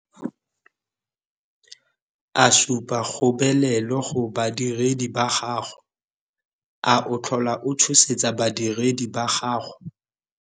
A supa kgobelelo go badiredi ba bangwe? A o tlhola o tshosetsa badiredi ba gago?